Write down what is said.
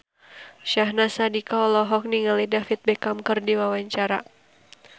Syahnaz Sadiqah olohok ningali David Beckham keur diwawancara